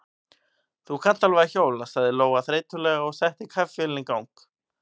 Þú kannt alveg að hjóla, sagði Lóa þreytulega og setti kaffivélina í gang.